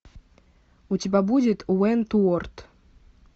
у тебя будет уэнтуорт